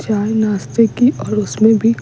चाय नाश्ते की और उसमें भी --